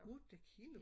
8 kilo?